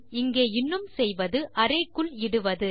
இங்கே இன்னும் செய்வது அரே க்குள் இடுவது